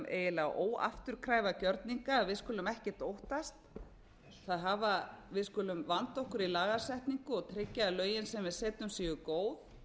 eiginlega óafturkræfa gjörninga að við skulum ekkert óttast við skulum vanda okkur í lagasetningu og tryggja að lögin sem við setjum séu góð